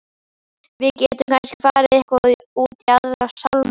Við gætum kannski farið eitthvað út í Aðra sálma.